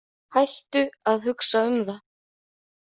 Hættu að hugsa um það.